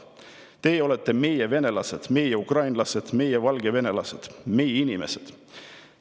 Teie olete meie venelased, meie ukrainlased, meie valgevenelased, meie inimesed.